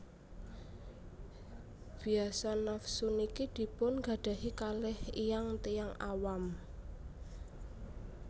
Biasa nafsu niki dipun gadahi kaleh iyang tiyang awam